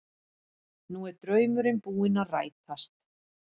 Nú er draumurinn búinn að rætast